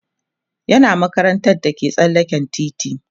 yana makarantar da ke tsallaken titi